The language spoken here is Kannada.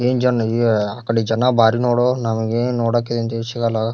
ಏನ್ ಜನ ಯೇ ಆ ಕಡೆ ಜನ ಬಾರಿ ನೋಡೊ. ನಮಗೆ ನೋಡಾಕ್ ಈದ್ ಹಿಂತದ್ ಶೀಗಲ್ಲಾ.